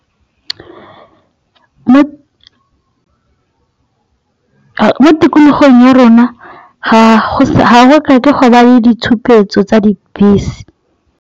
Mo tikologong ya rona ga go tlhoke go ba le ditshupetso tsa dibese.